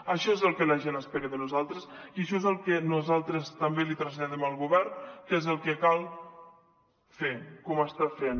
això és el que la gent espera de nosaltres i això és el que nosaltres també li traslladem al govern que és el que cal fer com ho està fent